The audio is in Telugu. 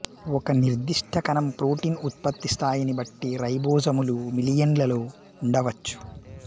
ఒక నిర్దిష్ట కణం ప్రోటీన్ ఉత్పత్తి స్థాయిని బట్టి రైబోజోములు మిలియన్లలో ఉండవచ్చు